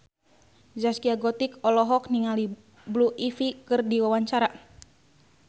Zaskia Gotik olohok ningali Blue Ivy keur diwawancara